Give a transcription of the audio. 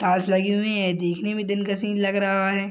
Tiles लगी हुई है देखने में दिन का सीन लग रहा है।